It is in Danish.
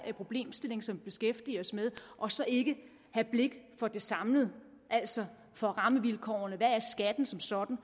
problemstilling som vi beskæftiger os med og så ikke have blik for det samlede altså for rammevilkårene og hvad skatten som sådan